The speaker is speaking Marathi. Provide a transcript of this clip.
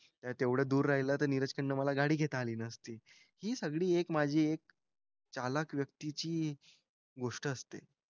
तेवढं दूर राहिलं तर नीरजकडनं मला गाडी घेता आली नसती. हि सगळी एक माझी एक चालाख व्यक्तीची गोष्ट असते.